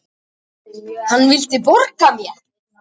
Hann vildi borga mér!